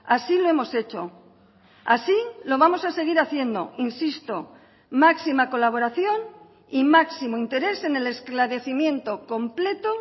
así lo hemos hecho así lo vamos a seguir haciendo insisto máxima colaboración y máximo interés en el esclarecimiento completo